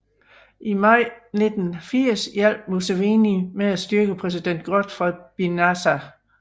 I maj 1980 hjalp Museveni med at styrte præsident Godfrey Binaisa